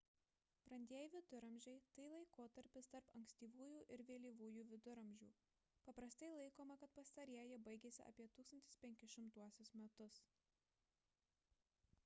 brandieji viduramžiai – tai laikotarpis tarp ankstyvųjų ir vėlyvųjų viduramžių paprastai laikoma kad pastarieji baigėsi apie 1500 metus